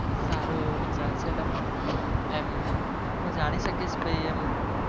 સારો એવો વિચાર છે તમારો એમ હું જાણી શકીશ એમ